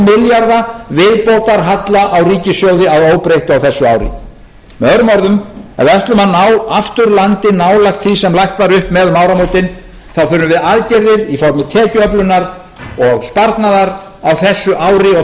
viðbótarhalla á ríkissjóði að óbreyttu á þessu ári með öðrum orðum ef við ætlum að ná aftur landi nálægt því sem lagt var upp með um áramótin þá þurfum við aðgerðir í formi tekjuöflunar og sparnaðar á þessu ári og